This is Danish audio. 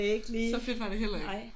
Så fedt var det heller ikke